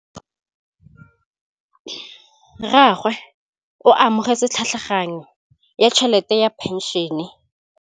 Rragwe o amogetse tlhatlhaganyô ya tšhelête ya phenšene.